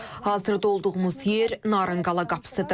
Hazırda olduğumuz yer Narınqala qapısıdır.